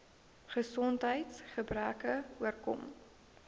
gesondheids gebreke oorkom